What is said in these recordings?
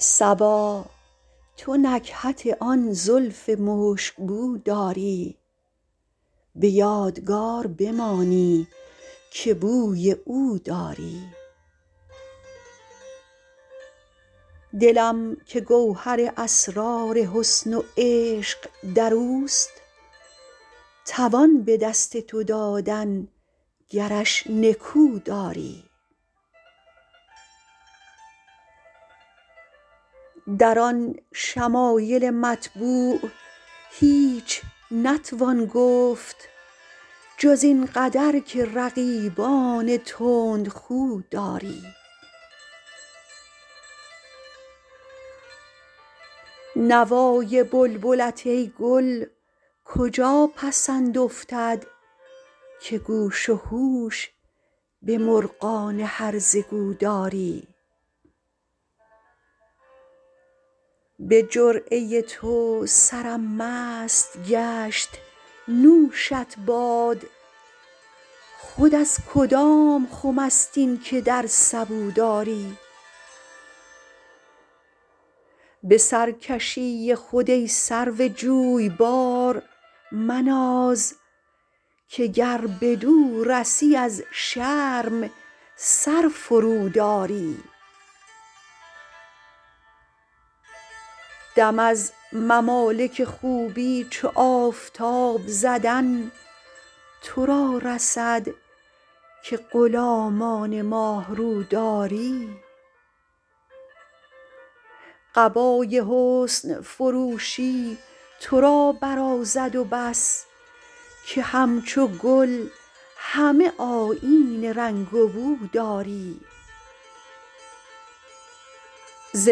صبا تو نکهت آن زلف مشک بو داری به یادگار بمانی که بوی او داری دلم که گوهر اسرار حسن و عشق در اوست توان به دست تو دادن گرش نکو داری در آن شمایل مطبوع هیچ نتوان گفت جز این قدر که رقیبان تندخو داری نوای بلبلت ای گل کجا پسند افتد که گوش و هوش به مرغان هرزه گو داری به جرعه تو سرم مست گشت نوشت باد خود از کدام خم است این که در سبو داری به سرکشی خود ای سرو جویبار مناز که گر بدو رسی از شرم سر فروداری دم از ممالک خوبی چو آفتاب زدن تو را رسد که غلامان ماه رو داری قبای حسن فروشی تو را برازد و بس که همچو گل همه آیین رنگ و بو داری ز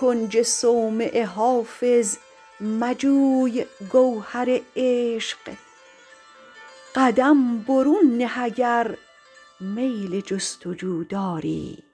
کنج صومعه حافظ مجوی گوهر عشق قدم برون نه اگر میل جست و جو داری